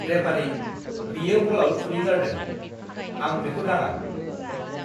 Referee! बियो बलआव खुदै गारदों। आं बेखौ दाङा!